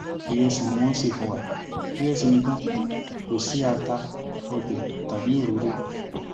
ìrẹsì ni wọn ń ṣe fún wa ìrẹsì nìkan kò sí ata ọbẹ tàbí òróró